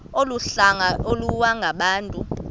olu hlanga iwalungabantu